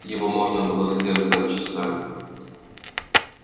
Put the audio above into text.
его можно было созерцать часами